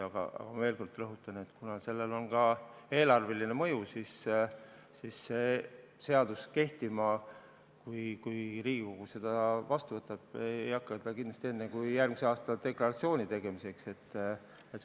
Aga ma veel kord rõhutan, et kuna sellel on ka eelarveline mõju, siis see seadus, kui Riigikogu selle vastu võtab, ei hakka kehtima kindlasti enne kui järgmise aasta deklaratsioonide tegemise ajaks.